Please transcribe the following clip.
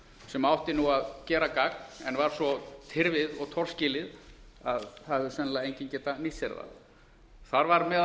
sem átti að gera gagn en var svo tyrfið og torskilið að það hefur sennilega enginn getað nýtt sér það þar var meðal